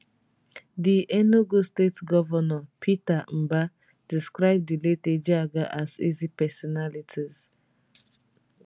di enugu state govnor peter mbahdescribe di late ejeagha as easy personality